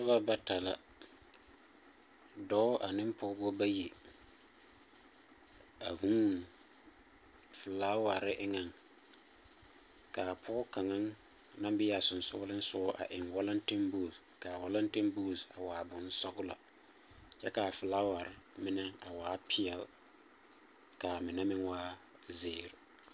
Noba bata la. Dɔɔ ane pɔgbɔ bayi a hūū felaaware eŋeŋ. Ka pɔgɔ kaŋa naŋ be a sensɔglesogɔ eŋ walantebuuse kaa walantebuuse a waa bonsɔglɔ, kyɛ kaa felawar mine a waa peɛl, kaa mine meŋ waa zeɛr.